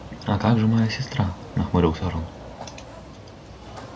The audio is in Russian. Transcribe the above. а как же моя сестра нахмурился рон